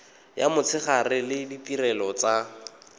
ya motshegare le ditirelo tsa